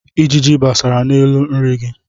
Ijiji besara n'elu nri gị.